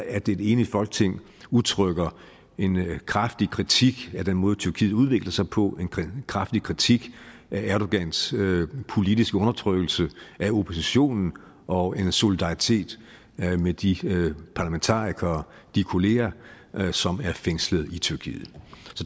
at et enigt folketing udtrykker en kraftig kritik af den måde tyrkiet udvikler sig på en kraftig kritik af erdogans politiske undertrykkelse af oppositionen og en solidaritet med de parlamentarikere de kollegaer som er fængslet i tyrkiet